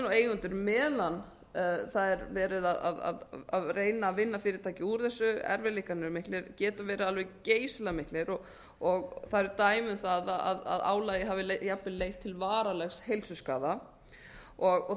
og eigendur meðan það er verið að reyna að vinna fyrirtækið úr þessu erfiðleikarnir eru miklir geta verið alveg geysilega miklir það eru dæmi um það að álagið hafi jafnvel leitt til varanlegs heilsuskaða og